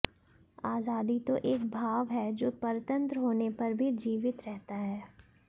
आजादी तो एक भाव है जो परतंत्र होने पर भी जीवित रहता है